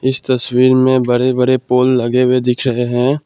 इस तस्वीर में बड़े बड़े पोल लगे हुए दिख रहे हैं।